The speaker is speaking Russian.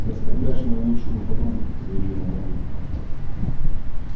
ты оскорбляешь мою лучшую подругу заявила мамулька